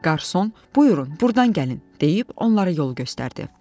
Qarson, buyurun, burdan gəlin, deyib onları yol göstərdi.